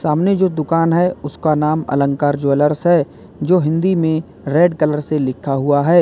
सामने जो दुकान है उसका नाम अलंकार ज्वेलर्स है जो हिंदी में रेड कलर से लिखा हुआ है।